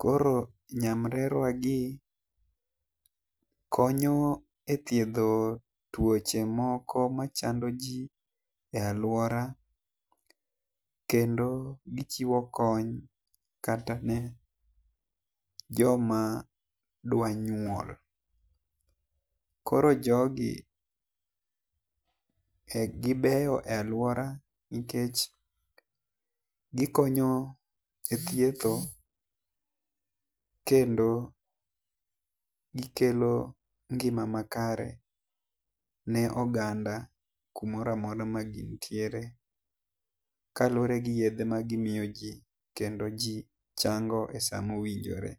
.Koro nyamrerwa gi konyo e thiedho tuoche moko ma chando ji e aluora kendo gi chiwo kony kata ne jo ma dwa nyuol. Koro jogi gi ber aluora nikech gi konyo e thietho kendo gi kelo ngima makare ne oganda ku moro amora ma gin tiere, Kaluore gi yedhe ma gi miyo ji kendo ji chango e saa ma owinjore.